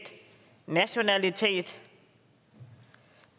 nationalitet